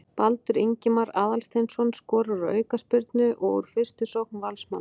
Baldur Ingimar Aðalsteinsson skorar úr aukaspyrnu og úr fyrstu sókn Valsmanna.